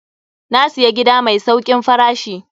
Na siya gida mai saukin farashi.